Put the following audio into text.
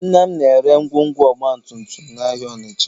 Nna m na-ere ngwongwo ọgbatumtum n'ahịa Ọnịcha